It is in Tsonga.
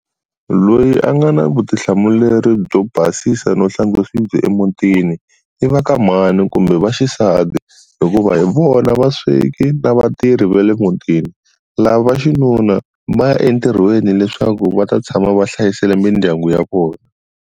Loyi a nga na vutihlamuleri byo basisa no hlantswa swibye emutini, i va ka mhani kumbe vaxisati. Hikuva hi vona vasweki na vatirhi va le mutini. Lava vaxinuna, va ya entirhweni leswaku va ta tshama va hlayisile mindyangu ya vona.